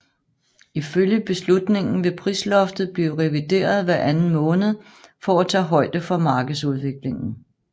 Ifølge beslutningen vil prisloftet blive revideret hver anden måned for at tage højde for markedsudviklingen